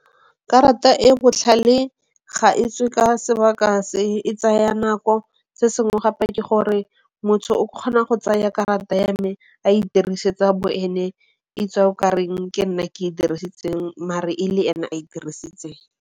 Karata e botlhale ga e tswe ka sebaka se. E tsaya nako. Se sengwe gape ke gore motho o kgona go tsaya karata ya me a e tirisetsa bo ene e tswa e kareng ke nna ke e dirisitseng mare e le ene a e dirisitseng.